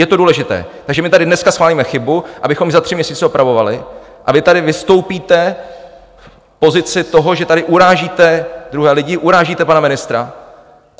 Je to důležité, takže my tady dneska schválíme chybu, abychom ji za tři měsíce opravovali, a vy tady vystoupíte v pozici toho, že tady urážíte druhé lidi, urážíte pana ministra.